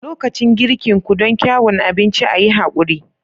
Lokacin girkin ku don kyuan abinci, a yi haƙuri.